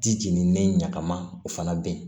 Di jenini ɲagamana o fana bɛ yen